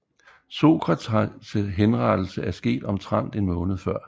Sokrates henrettelse er sket omtrent en måned før